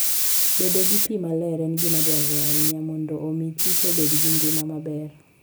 Bedo gi pi maler en gima dwarore ahinya mondo omi kich obed gi ngima maber.